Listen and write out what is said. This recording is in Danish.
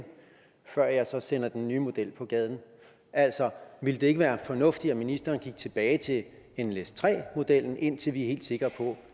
før jeg så sender den nye model på gaden altså ville det ikke være fornuftigt at ministeren gik tilbage til nles3 modellen indtil vi er helt sikre på